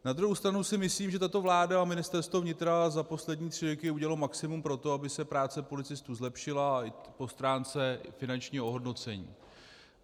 Na druhou stranu si myslím, že tato vláda a Ministerstvo vnitra za poslední tři roky udělaly maximum pro to, aby se práce policistů zlepšila i po stránce finančního ohodnocení.